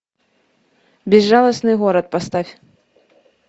безжалостный город поставь